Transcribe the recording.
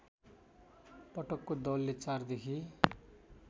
पटकको दरले ४ देखि